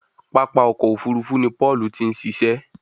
pápá ọkọ̀-òfurufú ni Paul tin ṣiṣẹ